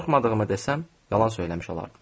Qorxmadığımı desəm yalan söyləmiş olardım.